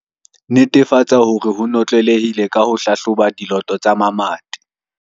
Netefatsa hore e notlelehile ka ho hlahloba diloto tsa mamati.